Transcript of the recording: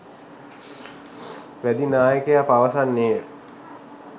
වැදි නායකයා පවසන්නේය